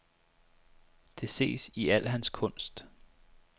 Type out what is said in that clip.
Det ses i al hans kunst.